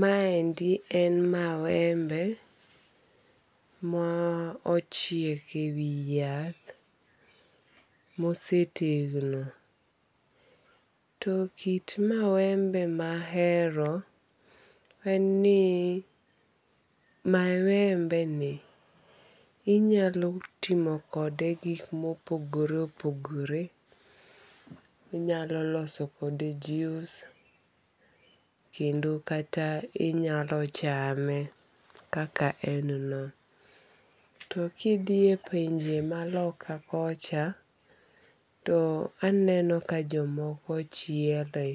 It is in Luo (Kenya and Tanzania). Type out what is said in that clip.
Maendi en mawembe ma ochiek e wi yath mosetegno. To kit mawembe ma ahero en ni mawembe ni inyalo timo kode gik mopogore opogore. Inyalo loso kode jus kendo kata inyalo chame kaka en no. To kidhiye pinje ma loka kocha to aneno ka jomoko chiele.